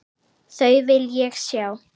Þau vil ég sjá.